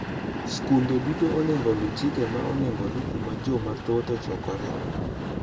Skunde duto onego oluw chike ma onego oluw kuma jo mathoth ockokre .